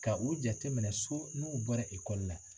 Ka u jateminɛ so n'u bɔra la.